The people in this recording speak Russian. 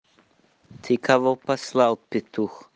ты кого послал петух